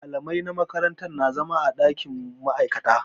Malamai na makaranta na zama a ɗakin ma'aikata.